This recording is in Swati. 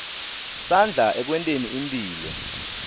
sandla ekwenteni imphilo